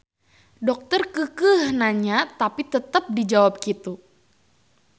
Dokter keukeuh nanya tapi tetep dijawab kitu.